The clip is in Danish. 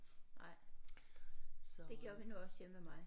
Nej det gjorde vi nu også hjemme ved mig